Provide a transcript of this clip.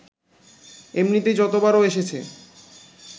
এমনিতেই যতবার ও এসেছে